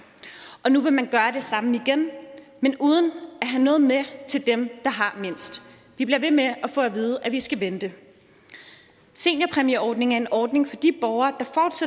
og nu vil man gøre det samme igen men uden at have noget med til dem der har mindst vi bliver ved med at få at vide at vi skal vente seniorpræmieordningen er en ordning for de borgere